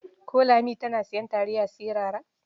Ko Lami tana sayan taliya sirara?